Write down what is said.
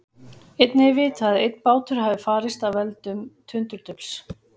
Einnig er vitað að einn bátur hafi farist af völdum tundurdufls.